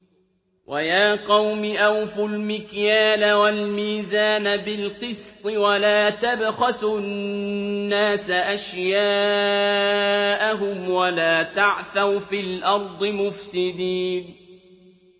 وَيَا قَوْمِ أَوْفُوا الْمِكْيَالَ وَالْمِيزَانَ بِالْقِسْطِ ۖ وَلَا تَبْخَسُوا النَّاسَ أَشْيَاءَهُمْ وَلَا تَعْثَوْا فِي الْأَرْضِ مُفْسِدِينَ